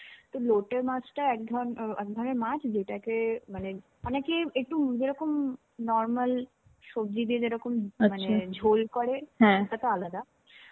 তো লোটে মাছটা একধরনের~ একধরনের মাছ. যেটাকে মানে অনেকেই একটু অন্যরকম normal সবজি দিয়ে যেরকম মানে ঝোল করে. সেটাতো আলাদা.